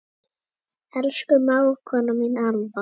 Elsku mágkona mín Alfa.